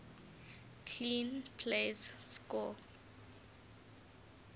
clean plays score